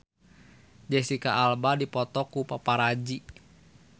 Jesicca Alba dipoto ku paparazi